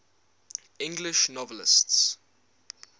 english novelists